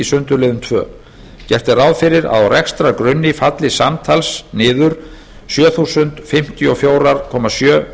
sundurliðun annars gert er ráð fyrir að á rekstrargrunni falli niður samtals sjö þúsund fimmtíu og fjögur komma sjö